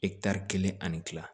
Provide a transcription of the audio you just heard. kelen ani kila